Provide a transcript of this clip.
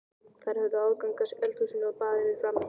Þær höfðu aðgang að eldhúsinu og baðinu frammi, systurnar.